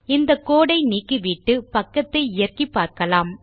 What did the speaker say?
இந்த கோடு ஐ நீக்கிவிட்டு பக்கத்தை இயக்கிப்பார்க்கலாம்